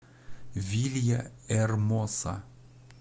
вильяэрмоса